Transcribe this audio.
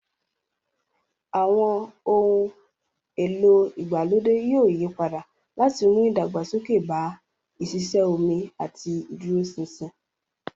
Àwọn ohun èlò ìgbàlódé yóò yí padà láti mú ìdàgbàsókè bá ìṣiṣẹ́ omi àti ìdúróṣinṣin.